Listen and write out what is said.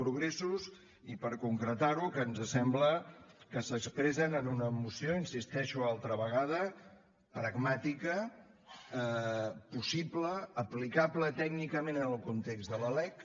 progressos i per concretar ho que ens sembla que s’expressen en una moció hi insisteixo altra vegada pragmàtica possible aplicable tècnicament en el context de la lec